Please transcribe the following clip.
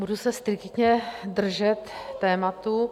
Budu se striktně držet tématu.